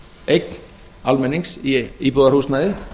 eign almennings í íbúðarhúsnæði